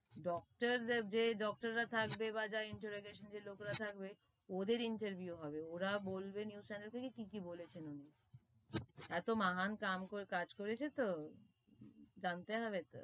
Doctor দের জে doctor রা থাকবে, বা যে interrogation লোক রা থাকবে, ওদের interview হবে, ওরা বলবে news channel কে কি কি বলেছে এতো মহান কাম কাজ করেছে তো, জানতে হবে তো,